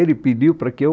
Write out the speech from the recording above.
Ele pediu para que eu...